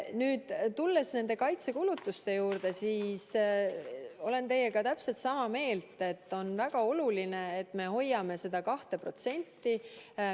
Nüüd tulles nende kaitsekulutuste juurde, siis olen teiega täpselt sama meelt, et on väga oluline, et me hoiame seda 2%.